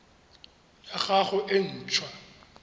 ya gago e nt hwa